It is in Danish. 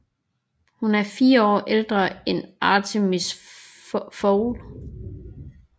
Hun er 4 år ældre end Artemis Fowl